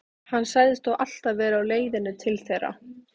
Hann segist þó alltaf vera á leiðinni til þeirra.